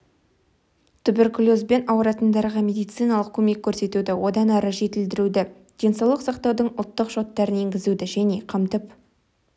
туберкулезбен ауыратындарға медициналық көмек көрсетуді одан әрі жетілдіруді денсаулық сақтаудың ұлттық шоттарын енгізуді және қамтып